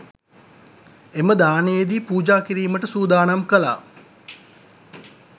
එම දානයේදී පූජා කිරීමට සූදානම් කළා